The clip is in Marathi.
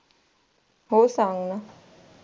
हो सांग ना.